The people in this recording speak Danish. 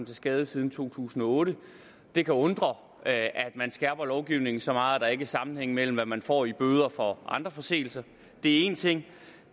skade siden to tusind og otte det kan undre at man skærper lovgivningen så meget at der ikke er sammenhæng med hvad man får i bøde for andre forseelser det er én ting